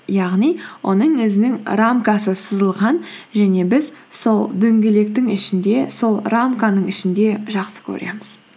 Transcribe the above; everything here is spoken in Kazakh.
яғни оның өзінің рамкасы сызылған және біз сол дөңгелектің ішінде сол рамканың ішінде жақсы көреміз